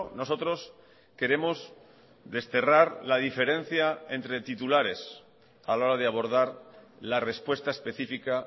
nosotros queremos desterrar la diferencia entre titulares a la hora de abordar la respuesta específica